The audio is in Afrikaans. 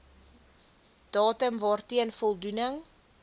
datum waarteen voldoening